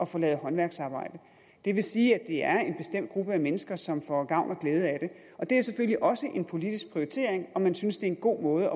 få lavet håndværksarbejde det vil sige at det er en bestemt gruppe af mennesker som får gavn og glæde af det og det er selvfølgelig også en politisk prioritering om man synes det er en god måde